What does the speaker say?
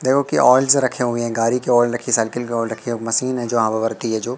देखो कि आइल्स रखे हुए हैं गाड़ी के ऑयल रखी साइकिल के ऑयल रखी है मशीन है जो हवा भरती है जो।